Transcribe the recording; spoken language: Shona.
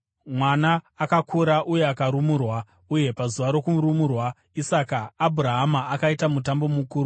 Mwana akakura uye akarumurwa, uye pazuva rakarumurwa Isaka, Abhurahama akaita mutambo mukuru.